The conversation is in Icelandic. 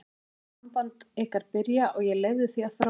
Ég horfði á samband ykkar byrja og ég leyfði því að þróast.